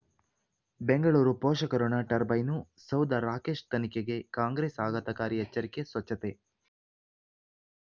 ಬೆಂಗಳೂರು ಪೋಷಕ ಋಣ ಟರ್ಬೈನು ಸೌಧ ರಾಕೇಶ್ ತನಿಖೆಗೆ ಕಾಂಗ್ರೆಸ್ ಆಘಾತಕಾರಿ ಎಚ್ಚರಿಕೆ ಸ್ವಚ್ಛತೆ